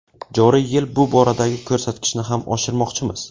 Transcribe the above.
Joriy yil bu boradagi ko‘rsatkichni ham oshirmoqchimiz.